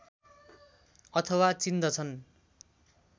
अथवा चिन्दछन्